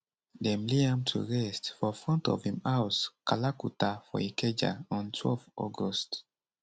dem lay am to rest for front of im house kalakuta for ikeja on twelve august